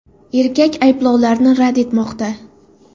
Erkak ayblovlarni rad etmoqda.